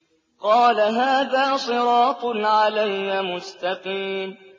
قَالَ هَٰذَا صِرَاطٌ عَلَيَّ مُسْتَقِيمٌ